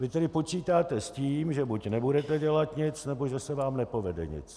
Vy tedy počítáte s tím, že buď nebudete dělat nic, nebo že se vám nepovede nic.